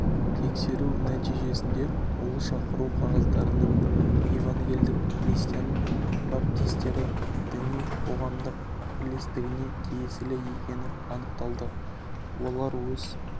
тексеру нәтижесінде ол шақыру қағаздарының евангелдік христиан баптистері діни қоғамдық бірлестігіне тиесілі екені анықталды олар өз